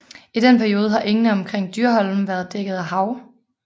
I den periode har engene omkring Dyrholmen været dækket af hav